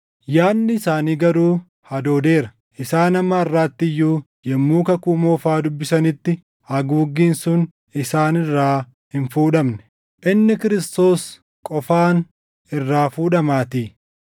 Yaadni isaanii garuu hadoodeera; isaan hamma harʼaatti iyyuu yommuu kakuu moofaa dubbisanitti haguuggiin sun isaan irraa hin fuudhamne. Inni Kiristoos qofaan irraa fuudhamaatii.